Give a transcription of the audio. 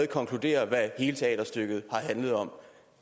konkluderer hvad hele teaterstykket handler om